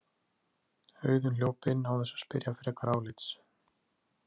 Auðunn hljóp inn án þess að spyrja frekara álits.